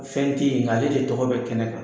Fɛn te ye ŋa ale de tɔgɔ bɛ kɛnɛ kan.